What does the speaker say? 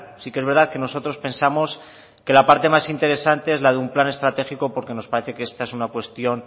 sí que es verdad que nosotros pensamos que la parte más interesante es la de un plan estratégico porque nos parece que esta es una cuestión